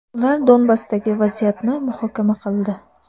Ular Donbassdagi vaziyatni muhokama qildi.